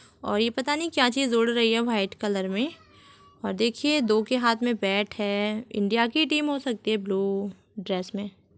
और ये पता नहीं क्या चीज उड़ रही है वाइट कलर में और देखिये दो के हाथ में बेट है इंडिया की टीम हो सकती है ब्लू ड्रेस मे--